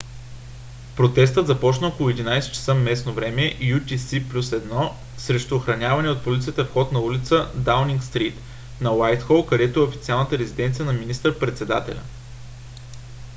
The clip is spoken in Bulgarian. протестът започна около 11:00 часа местно време utc+1 срещу охранявания от полицията вход на улица даунинг стрийт на уайтхол където е официалната резиденция на министър-председателя